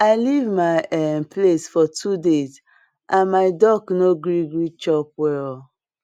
i leave my um place for two days and my duck no gree gree chop well